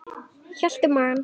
Hélt um magann.